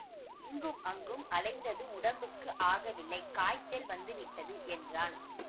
இங்கும் அங்கும் அலைந்தது உடம்புக்கு ஆகவில்லை காய்ச்சல் வந்துவிட்டது என்றான்